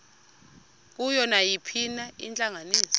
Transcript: kuyo nayiphina intlanganiso